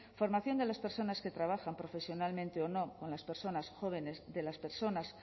formación de las personas que trabajan profesionalmente o no con las personas jóvenes de las personas